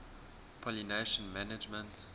pollination management